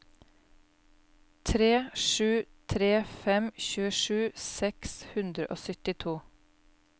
tre sju tre fem tjuesju seks hundre og syttito